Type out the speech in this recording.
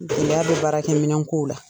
Gɛlɛya bɛ baara kɛ minɛn ko la.